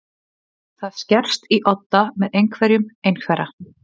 Það skerst í odda með einhverjum einhverra